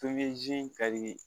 Tobiye ze in ka dii